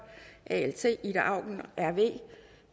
ida auken